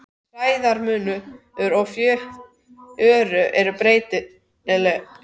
Hæðarmunur flóðs og fjöru er breytilegur.